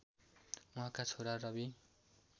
उहाँका छोरा रवि